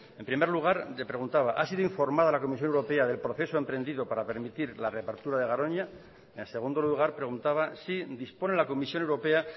en primer lugar le preguntaba ha sido informada la comisión europea del proceso emprendido para permitir la reapertura de garoña en segundo lugar preguntaba si dispone la comisión europea